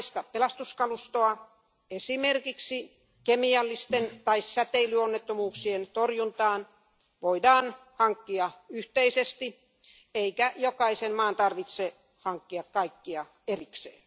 pelastuskalustoa esimerkiksi kemiallisten tai säteilyonnettomuuksien torjuntaan voidaan hankkia yhteisesti eikä jokaisen maan tarvitse hankkia kaikkea erikseen.